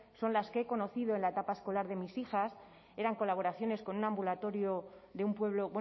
son las que he conocido en la etapa escolar de mis hijas eran colaboraciones con un ambulatorio de un pueblo